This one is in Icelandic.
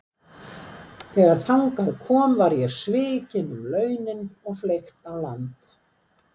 Þegar þangað kom var ég svikinn um launin og fleygt á land.